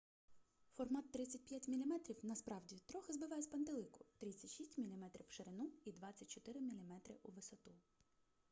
формат 35 мм насправді трохи збиває з пантелику 36 мм в ширину і 24 мм у висоту